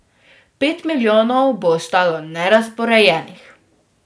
Pet milijonov bo ostalo nerazporejenih.